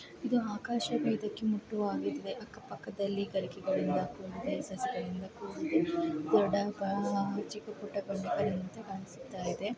ಇದು ಆಕಾಶ ಅಕ್ಕ ಪಕ್ಕದಲ್ಲಿ ಇದೆ.